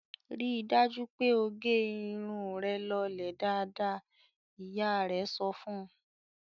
"Rí dájú pé ó gẹ irun rẹ lọlẹ̀ dáadáa!" Ìyá rẹ̀ sọ fún un.